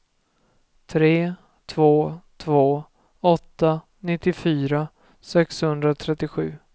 tre två två åtta nittiofyra sexhundratrettiosju